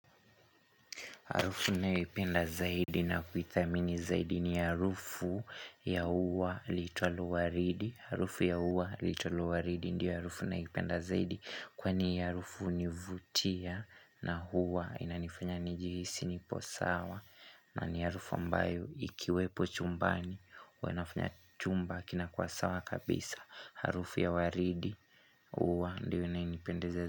Harufu nanayoipenda zaidi na kuithamini zaidi ni harufu ya uwa liitwalo waridi Harufu ya uwa liitwalo waridi ndiyo harufu naipenda zaidi Kwa ni harufu nivutia na huwa inanifunya ni jihisi nipo sawa na ni harufu ambayo ikiwepo chumbani hua inafanya chumba kinakuwa sawa kabisa Harufu ya waridi uwa ndiyo inayenipendeza zaidi.